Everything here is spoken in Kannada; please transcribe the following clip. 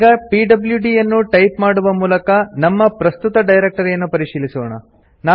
ಈಗ ಪಿಡ್ಲ್ಯೂಡಿ ಯನ್ನು ಟೈಪ್ ಮಾಡುವ ಮೂಲಕ ನಮ್ಮ ಪ್ರಸ್ತುತ ಡೈರೆಕ್ಟರಿಯನ್ನು ಪರಿಶೀಲಿಸೋಣ